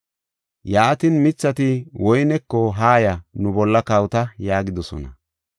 “Yaatin, mithati woyneko, ‘Haaya, nu bolla kawota’ yaagidosona.